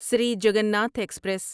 Sri Jagannath express